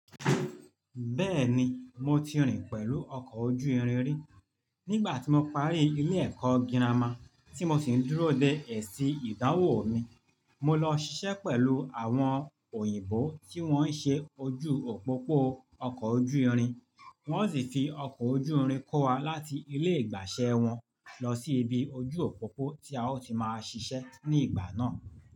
Bẹ́ẹ̀ni, mo ti rìn pẹ̀lú ọkọ̀ ojú irin rí. Nígbà tí mo parí ilé ẹ̀kọ́ girama tí mo sì ń dúró de èsì ìdánwò mi, mo lọ ṣiṣẹ́ pẹ̀lú àwọn òyìnbó tí wọ́n ń ṣe ojú òpópó ọkọ̀ ojú irin. Wọ́n sì fi ọkọ̀ ojú irin kó wa láti ilé ìgbàṣẹ́ wọn lọ sí ibi ojú òpópó tí a ó ti máa ṣiṣẹ́ ní ìgbà náà.